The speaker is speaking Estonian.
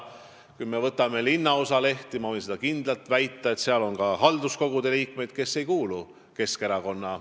Kui me võtame ette linnaosalehed, siis ma võin kindlalt väita, et seal on ka halduskogude liikmeid, kes ei kuulu Keskerakonda.